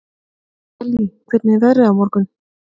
Kellý, hvernig er veðrið á morgun?